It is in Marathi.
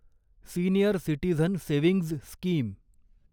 senior citizen savings scheme